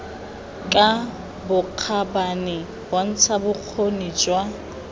ka bokgabane bontsha bokgoni jwa